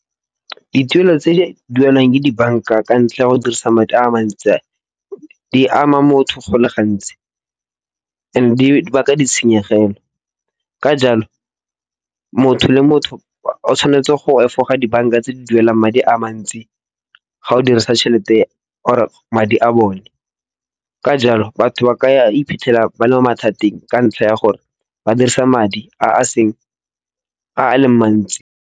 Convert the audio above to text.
Dituelo tse di duelwang ka dibanka ka ntlha ya go dirisa madi a mantsi. Di ama motho go le gantsi and di baka ditshenyegelo. Ka jalo, motho le motho o tshwanetse go efoga dibanka tse di duelang madi a mantsi ga o dirisa tšhelete or madi a bone. Ka jalo, batho ba ka iphitlhela ba le mo mathateng ka ntlha ya gore ba dirisa madi a a seng, a le mantsi.